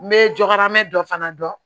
N bɛ jɔkarɛn dɔ fana dɔn